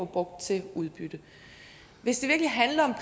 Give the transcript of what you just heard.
brugt til udbytte hvis det virkelig handler